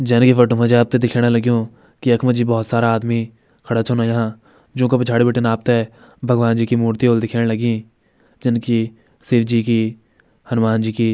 जाने की फोटो मजे आपते दिख्याणा लग्युं की यखम जी बहौत सारा आदमी खड़ा छन हुयां जोका पिछाड़ी बिटिन आपते भगवान् जी की मूर्ति ह्वोल दिख्याण लगीं जन की शिव जी की हनुमान जी की।